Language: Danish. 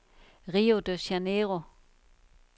Rio de Janeiro